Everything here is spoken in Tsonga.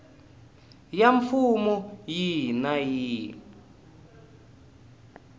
ya mfumo yihi na yihi